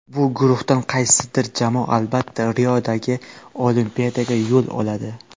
Bu guruhdan qaysidir jamoa albatta Riodagi Olimpiadaga yo‘l oladi.